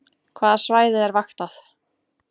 Hvaða svæði er vaktað